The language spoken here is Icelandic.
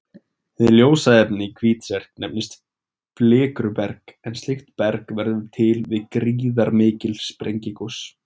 Hið ljósa efni í Hvítserk nefnist flikruberg en slíkt berg verður til við gríðarmikil sprengigos.